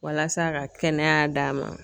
Walasa ka kɛnɛya d'a ma